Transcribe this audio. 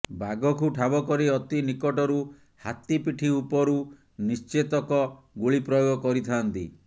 ବାଘକୁ ଠାବ କରି ଅତି ନିକଟରୁ ହାତୀ ପିଠି ଉପରୁ ନିଶ୍ଚେତକ ଗୁଳି ପ୍ରୟୋଗ କରିଥାଆନ୍ତି